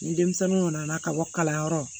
Ni denmisɛnninw kana na ka bɔ kalanyɔrɔ